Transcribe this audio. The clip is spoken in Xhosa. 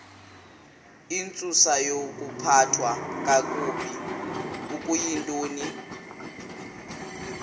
intsusayokuphathwa kakabi okuyintoni